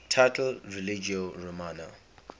title religio romana